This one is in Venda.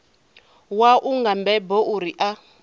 wau nga mbebo uri a